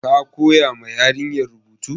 Ka koya ma yarinyar rubutu?